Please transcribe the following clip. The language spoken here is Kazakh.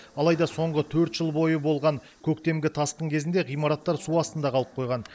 алайда соңғы төрт жыл бойы болған көктемгі тасқын кезінде ғимараттар су астында қалып қойған